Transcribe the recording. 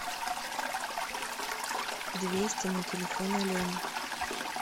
двести на телефон алене